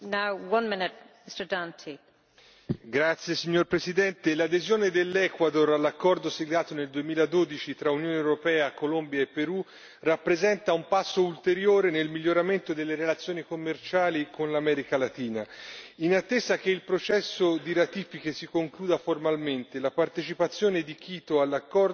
Signora Presidente, onorevoli colleghi, l'adesione dell'Ecuador all'accordo siglato nel 2012 tra Unione europea, Colombia e Perù, rappresenta un passo ulteriore nel miglioramento delle relazioni commerciali con l'America Latina. In attesa che il processo di ratifica si concluda formalmente, la partecipazione di Quito all'accordo